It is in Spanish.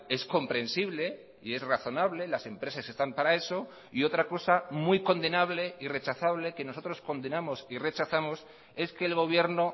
es comprensible y es razonable las empresas están para eso y otra cosa muy condenable y rechazable que nosotros condenamos y rechazamos es que el gobierno